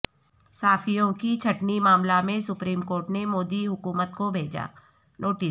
صحافیوں کی چھٹنی معاملہ میں سپریم کورٹ نے مودی حکومت کو بھیجا نوٹس